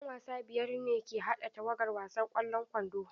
'Yan wasa biyar ne ke haɗa tawagar wasan ƙwallon kwando.